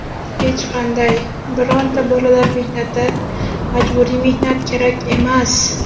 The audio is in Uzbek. Hech qanday, bironta bolalar mehnati, majburiy mehnat kerak emas.